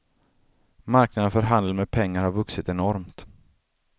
Marknaden för handel med pengar har vuxit enormt.